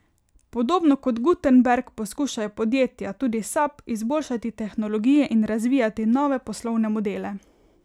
Podobno kot Gutenberg poskušajo podjetja, tudi Sap, izboljšati tehnologije in razvijati nove poslovne modele.